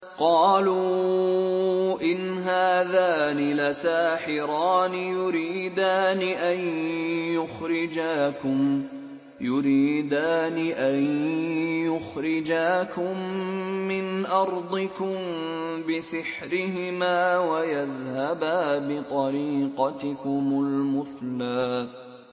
قَالُوا إِنْ هَٰذَانِ لَسَاحِرَانِ يُرِيدَانِ أَن يُخْرِجَاكُم مِّنْ أَرْضِكُم بِسِحْرِهِمَا وَيَذْهَبَا بِطَرِيقَتِكُمُ الْمُثْلَىٰ